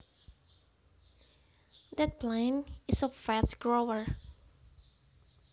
That plant is a fast grower